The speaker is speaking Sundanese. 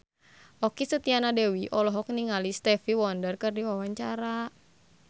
Okky Setiana Dewi olohok ningali Stevie Wonder keur diwawancara